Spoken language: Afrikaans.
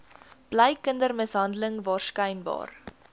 bly kindermishandeling waarskynlik